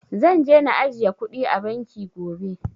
Zan je na ajiye kuɗi a banki gobe